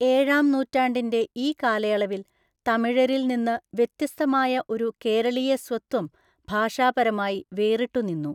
ഏഴാം നൂറ്റാണ്ടിന്റെ ഈ കാലയളവിൽ തമിഴരിൽ നിന്ന് വ്യത്യസ്തമായ ഒരു കേരളീയസ്വത്വം ഭാഷാപരമായി വേറിട്ടുനിന്നു.